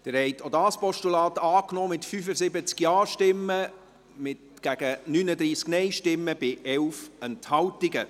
Sie haben auch dieses Postulat angenommen, mit 75 Ja- zu 39 Nein-Stimmen bei 11 Enthaltungen.